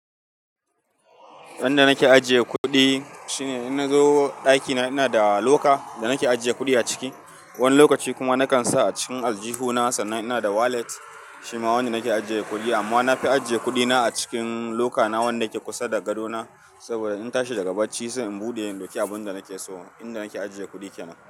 Yanda nake ajiye kuɗi shine idan na zo ɗakina ina da loka da nake ajiye kuɗi a ciki. Wani lokaci kuma na kan sa a cikin aljihuna sannan ina da wallet shi ma wanda nake ajiye kuɗi. Amma na fi ajiye kuɗina a cikin lokana wanda yake kusa da gadona saboda in tashi daga bacci sai in buɗe in dauki abunda nake so. Inda nake ajiye kuɗi kenan.